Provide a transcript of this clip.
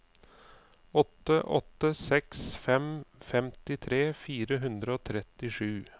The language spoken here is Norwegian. åtte åtte seks fem femtitre fire hundre og trettisju